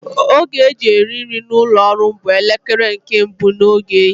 Oge e ji eri nri n'ụlọ ọrụ m bụ elekere nke mbụ nke ehihie